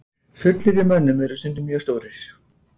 Sullir í mönnum urðu stundum mjög stórir.